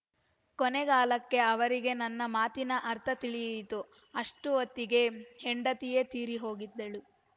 ಕೊನೆಗಾಲಕ್ಕೆ ಅವರಿಗೆ ನನ್ನ ಮಾತಿನ ಅರ್ಥ ತಿಳಿಯಿತು ಅಷ್ಟೊತ್ತಿಗೆ ಹೆಂಡತಿಯೇ ತೀರಿಹೋಗಿದ್ದಳು